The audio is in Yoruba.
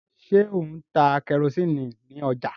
ṣe O ń tá kerosiini ní ọjà?